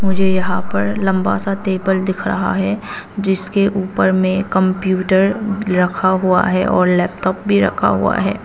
मुझे यहां पर लंबा सा टेबल दिख रहा है जिसके ऊपर में कंप्यूटर रखा हुआ है और लैपटॉप भी रखा हुआ है।